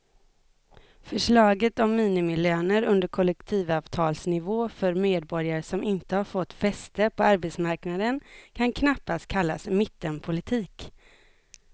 Förslaget om minimilöner under kollektivavtalsnivå för medborgare som inte har fått fäste på arbetsmarknaden kan knappast kallas mittenpolitik.